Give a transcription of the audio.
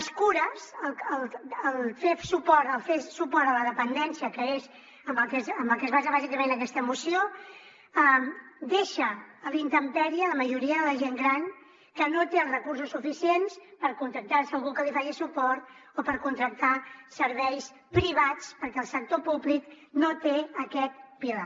les cures el fer suport a la dependència que és en el que es basa bàsicament aquesta moció deixa a la intempèrie la majoria de la gent gran que no té els recursos suficients per contractar algú que li faci suport o per contractar serveis privats perquè el sector públic no té aquest pilar